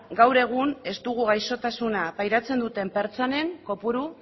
gaur egun ez dugu gaixotasuna pairatzen duten pertsonen kopuru